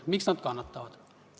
Miks nad kannatavad?